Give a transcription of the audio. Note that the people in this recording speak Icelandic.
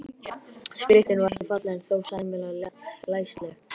Skriftin var ekki falleg en þó sæmilega læsileg.